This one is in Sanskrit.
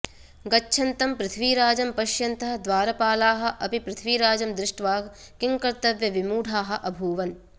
गच्छन्तं पृथ्वीराजं पश्यन्तः द्वारपालाः अपि पृथ्वीराजं दृष्ट्वा किङ्कर्तव्यमूढाः अभूवन्